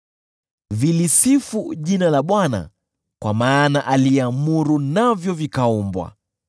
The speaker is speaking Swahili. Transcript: Vilisifu jina la Bwana kwa maana aliamuru navyo vikaumbwa.